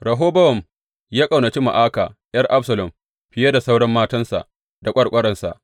Rehobowam ya ƙaunaci Ma’aka ’yar Absalom fiye da sauran matansa da ƙwarƙwaransa.